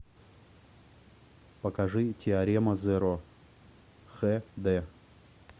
покажи теорема зеро х д